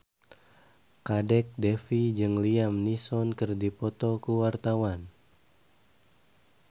Kadek Devi jeung Liam Neeson keur dipoto ku wartawan